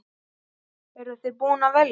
Eru þið búin að velja?